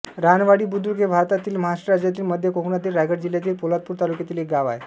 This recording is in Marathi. रानवाडी बुद्रुक हे भारतातील महाराष्ट्र राज्यातील मध्य कोकणातील रायगड जिल्ह्यातील पोलादपूर तालुक्यातील एक गाव आहे